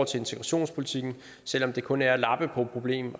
til integrationspolitikken selv om det kun er at lappe på problemet